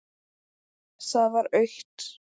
Það var autt.